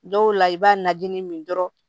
Dɔw la i b'a najinin min dɔrɔn